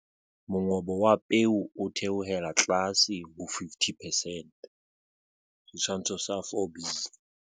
Mongobo wa peo o theohela tlase ho 50 percent. Setshwantsho sa 4b.